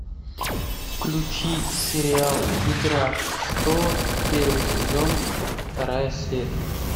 включи сериал игра престолов первый сезон вторая серия